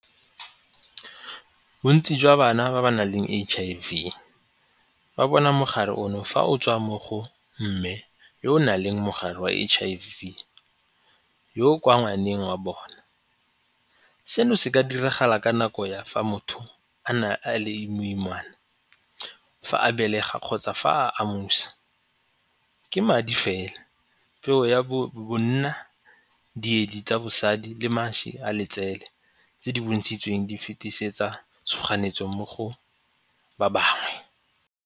Bontsi jwa bana ba ba naleng H_I_V ba bona mogare ono fa o tswa mo go mme yo o nang le mogare wa H_I_V yo kwa ngwaneng wa bona. Seno se ka diragala ka nako ya fa motho a na a le moimane fa a belega kgotsa fa a . Ke madi fela, peo ya bonna, boedi tsa basadi le mašwi a letsele tse di bontshitsweng di fetisetsa tshoganyetso mo go ba bangwe.